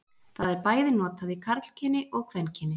Það er bæði notað í karlkyni og kvenkyni.